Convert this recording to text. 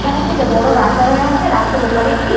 এখানে একটি এটা বড় রাস্তা দেখা যাচ্ছে রাস্তার ওপারে একটি--